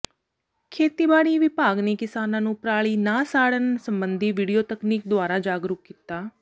ਖੇਤੀਬਾੜੀ ਵਿਭਾਗ ਨੇ ਕਿਸਾਨਾਂ ਨੂੰ ਪਰਾਲੀ ਨਾ ਸਾੜਨ ਸਬੰਧੀ ਵੀਡੀਓ ਤਕਨੀਕ ਦੁਆਰਾ ਜਾਗਰੂਕ ਕੀਤਾ